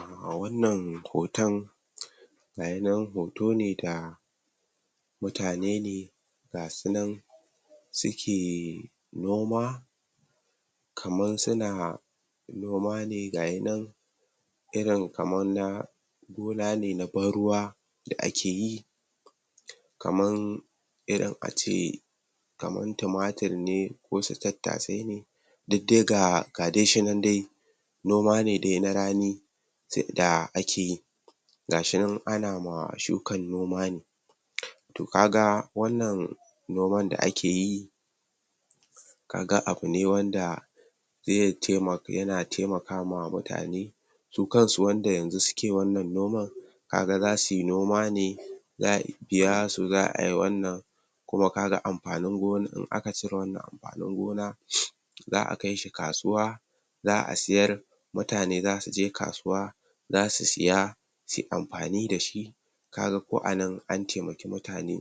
um wannan hotan ga yi nan hoto ne da mutane ne ga su nan suke noma kaman suna noma ne ga yi nan irin kaman na gona ne na ban ruwa da ake yi kaman irin ace kaman tumatir ne wasu tattasai ne duk dai ga dai shi nan dai noma dai na rani da akeyi ga shi nan ana ma shukan noma ne to ka ga wannan noman da ake yi ka ga abu ne wanda ze um yana temaka ma mutane su kan su wanda yanzu suke wannan noman ka ga zasu yi noma ne za'a biya su za'a yi wannan kuma ka ga amfanin gona um aka cire wannan a nan gona za'a kai shi kasuwa za'a siyar mutane zasu je kasuwa zasu siya suyi amfani da shi ka ga ko a nan an temaki mutane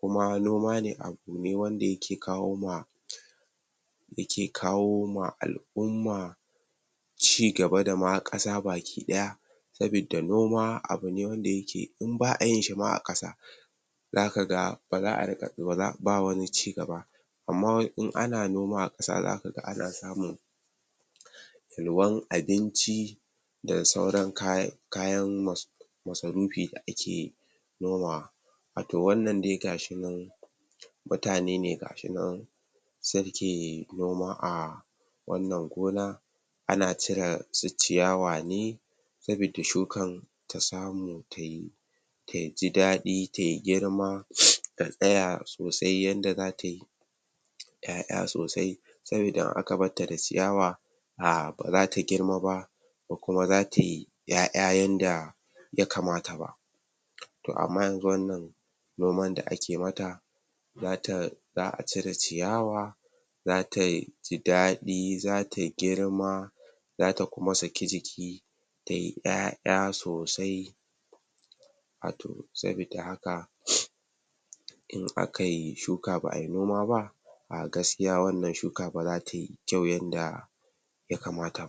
kuma noma ne abu ne wanda ya ke kawo ma yake kawo ma al'umma cigaba dama ƙasa baki ɗaya sabidda noma abu ne wanda yake in ba'a yin shi ma a ƙasa zaka ga ba za'a riƙa um ba wani cigaba amma in ana noma a ƙasa zaka ga ana samun yalwan abinci da sauran kayan kayan mas masarufi da ake nomawa wato wannan dai ga shi nan mutane ne ga shi nan suke noma a wannan gona ana cire su ciyawa ne sabidda shukan ta samu tayi ta ji daɗi tayi girma ta tsaya sosai yanda zata yi ƴaƴa sosai sabida in aka barta da ciyawa um ba zata girma ba ko kuma zatayi ƴaƴa yanda ya kamata ba to amma yanzu wannan noman da ake mata zata za'a cire ciyawa zata yi ji daɗi zata girma zata kuma saki jiki tayi ƴaƴa sosai a to sabIdda haka in aka yi shuka ba'a yi noma ba um gaskiya wannan shuka ba zata yi kyau yanda ya kamata ba